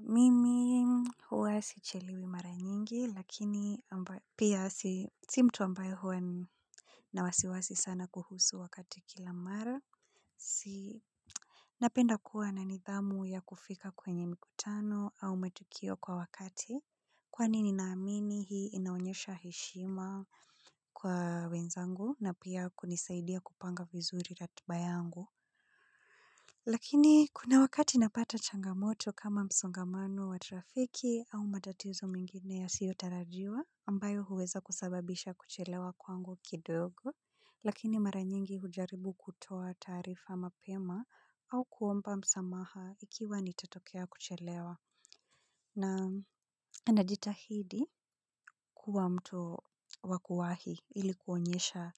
Mimi huwa sichelewi mara nyingi, lakini, pia, si mtu ambayo huwa ni na wasiwasi sana kuhusu wakati kila mara, si napenda kuwa na nidhamu ya kufika kwenye mikutano au matukio kwa wakati, kwani ninaamini hii inaonyesha heshima, kwa wenzangu na pia kunisaidia kupanga vizuri ratiba yangu, lakini, kuna wakati napata changamoto kama msongamano wa trafiki, au matatizo mengine yasiotarajiwa ambayo huweza kusababisha kuchelewa kwangu kidogo. Lakini mara nyingi hujaribu kutoa taarifa mapema, au kuomba msamaha ikiwa nitatokea kuchelewa. Naam anajitahidi, kuwa mtu wa kuwahi ilikuonyesha